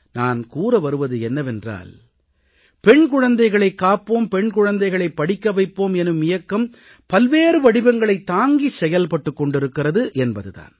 நான் கூற வருவது என்னவென்றால் பெண் குழந்தைகளைக் காப்போம் பெண் குழந்தைகளைப் படிக்க வைப்போம் எனும் இயக்கம் பல்வேறு வடிவங்களைத் தாங்கி செயல்பட்டுக் கொண்டிருக்கிறது என்பது தான்